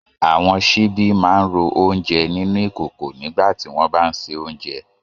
Àwọn ìkòkò máa ń rú oúnjẹ nínú ìkòkò nígbà tí wọ́n bá ń se oúnjẹ